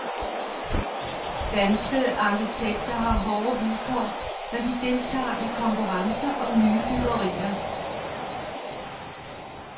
Danske arkitekter har hårde vilkår, når de deltager i konkurrencer om nye byggerier.